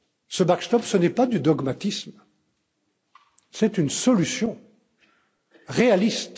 Ce backstop n'est pas du dogmatisme, c'est une solution réaliste.